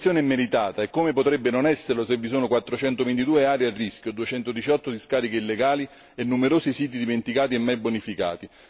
La sanzione è meritata, e come potrebbe non esserlo se vi sono quattrocento ventidue aree a rischio, duecento diciotto discariche illegali e numerosi siti dimenticati e mai bonificati?